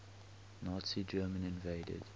nazi germany invaded